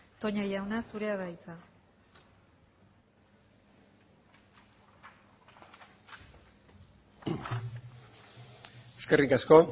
toña jauna zurea da hitza eskerrik asko